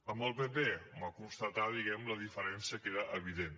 amb el pp constatar diguem ne la diferència que era evident